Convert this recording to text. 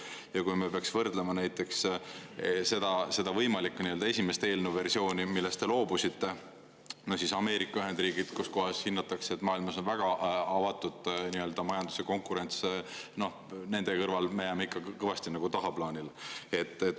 Ja kui peaks võrdlema näiteks seda võimalikku esimest eelnõu versiooni, millest te loobusite, siis Ameerika Ühendriigid, kus kohas hinnatakse, et maailmas on väga avatud majandus ja konkurents, noh, nende kõrval me jääme ikka kõvasti tagaplaanile.